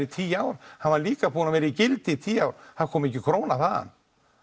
í tíu ár hann var líka búinn að vera í gildi í tíu ár það kom ekki króna þaðan